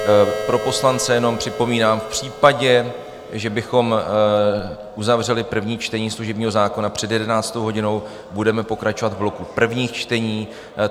Pro poslance jenom připomínám, v případě, že bychom uzavřeli první čtení služebního zákona před 11. hodinou, budeme pokračovat v bloku prvních čtení.